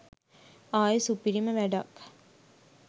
ආයෙ සුපිරිම වැඩක් .